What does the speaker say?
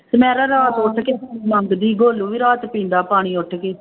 ਤੇ ਮੈਂ ਨਾ ਰਾਤ ਉੱਠ ਕੇ ਮੰਗਦੀ, ਗੋਲੂ ਵੀ ਰਾਤ ਪੀਂਦਾ ਪਾਣੀ ਉੱਠ ਕੇ।